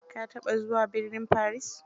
Ka taɓa zuwa burnin Paris?